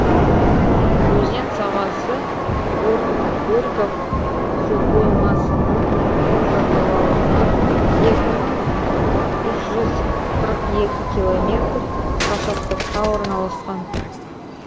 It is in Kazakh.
өзен сағасы горьков суқоймасының оң жағалауынан екі мың үш жүз қырық екі километр қашықтықта орналасқан